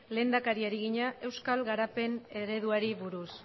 lehendakariari egina euskal garapen ereduari buruz